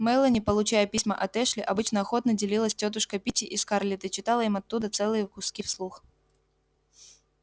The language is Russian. мелани получая письма от эшли обычно охотно делилась с тётушкой питти и скарлетт и читала им оттуда целые куски вслух